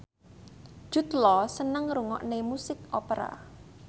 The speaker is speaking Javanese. Jude Law seneng ngrungokne musik opera